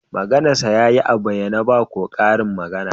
Maganarsa ya yi a bayyane, ba ko karin magana